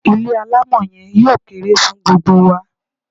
Ilé alámọ̀ yen yóò kere fun gbogbo wa